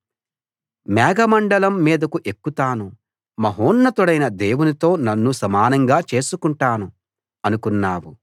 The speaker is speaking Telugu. మేఘమండలం మీదకు ఎక్కుతాను మహోన్నతుడైన దేవునితో నన్ను సమానంగా చేసుకుంటాను అనుకున్నావు